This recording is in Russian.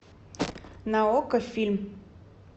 на окко фильм